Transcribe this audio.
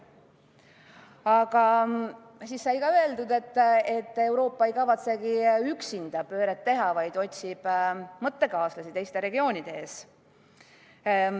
Aga siis sai öeldud, et Euroopa ei kavatsegi üksinda pööret teha, vaid otsib mõttekaaslasi teistes regioonides.